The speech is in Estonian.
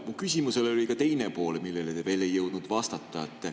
Mu küsimusel oli ka teine pool, millele te ei jõudnud vastata.